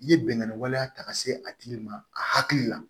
I ye bɛnganni waleya ta ka se a tigi ma a hakili la